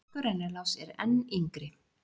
Franskur rennilás er enn yngri.